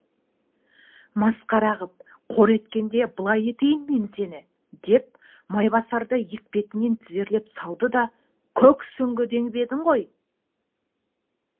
масқара қып қор еткенде былай етейін мен сені деп майбасарды етпетінен тізерлеп салды да көк сүңгі деп ең ғой